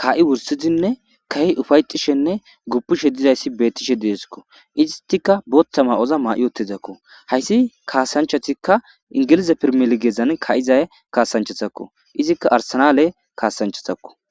kaa7i wursidinne ka7i ufayxishenne gupishe dizayssi beettishe dieskko istika booththa ma7oza maa7i otezakko hayssi kaasanchatikka ingilize pirmilgeezan ka7izay kaasanchatakko izikka arsanale kaasanchatakko